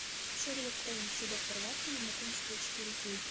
шерлок холмс и доктор ватсон знакомство четыре кей